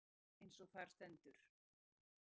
Römm er sú taug, eins og þar stendur